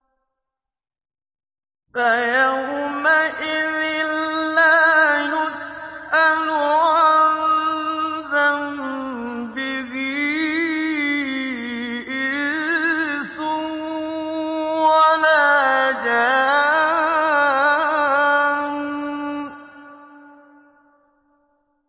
فَيَوْمَئِذٍ لَّا يُسْأَلُ عَن ذَنبِهِ إِنسٌ وَلَا جَانٌّ